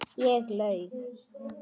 Ég laug.